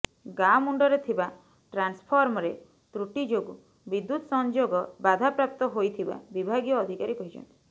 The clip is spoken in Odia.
ଗାଁ ମୁଣ୍ଡରେ ଥିବା ଟ୍ରାନ୍ସଫର୍ମରେ ତ୍ରୁଟି ଯୋଗୁଁ ବିଦ୍ୟୁତ୍ ସଂଯୋଗ ବାଧାପ୍ରାପ୍ତ ହୋଇଥିବା ବିଭାଗୀୟ ଅଧିକାରୀ କହିଛନ୍ତି